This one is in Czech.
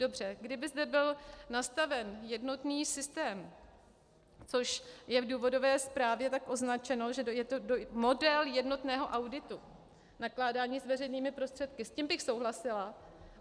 Dobře, kdyby zde byl nastaven jednotný systém, což je v důvodové zprávě tak označeno, že je to model jednotného auditu nakládání s veřejnými prostředky, s tím bych souhlasila.